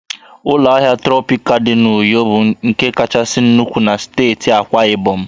Ụlọ ahịa Trọpịkana dị n'Uyo bụ nke kachasị nnukwu na steeti Akwa Ibom